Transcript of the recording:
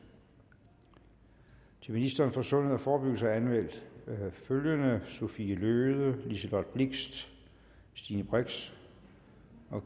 til ministeren for sundhed og forebyggelse er anmeldt følgende sophie løhde liselott blixt stine brix